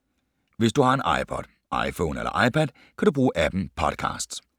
Hvis du har en iPod, iPhone eller iPad, kan du bruge app’en Podcasts.